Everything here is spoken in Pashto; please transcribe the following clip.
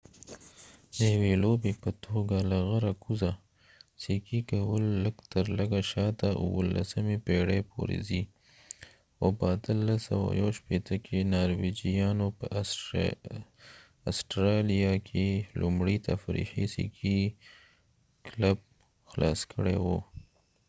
د یوې لوبې په توګه له غره کوزه سکي کول لږ تر لږه شاته 17مې پېړۍ پورې ځي او په 1861 کې نارویجیانو په اسټرالیا کې لومړی تفریحي سکي کلب خلاص کړی و